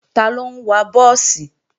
Taló ń wa búùsì?